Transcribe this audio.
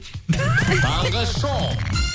таңғы шоу